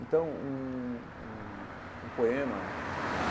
Então, um um um poema que...